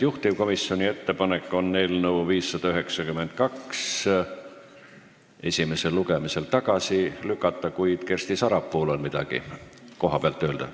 Juhtivkomisjoni ettepanek on eelnõu 592 esimesel lugemisel tagasi lükata, kuid Kersti Sarapuul on midagi kohapealt öelda.